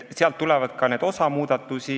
Sealt tuleb ka osa muudatusi.